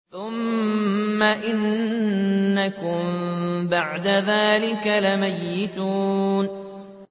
ثُمَّ إِنَّكُم بَعْدَ ذَٰلِكَ لَمَيِّتُونَ